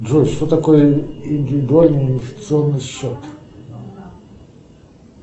джой что такое индивидуальный инвестиционный счет